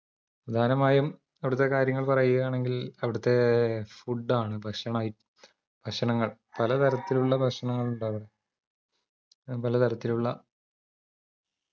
പ്രധാനമായും അവിടത്തെ കാര്യങ്ങൾ പറയാണെങ്കിൽ അവിടത്തെ food ആണ് ഭക്ഷണ ഐ ഭക്ഷണങ്ങൾ പലതരത്തിലുള്ള ഭക്ഷണങ്ങൾ ഉണ്ടാവ അ പലതരത്തിലുള്ള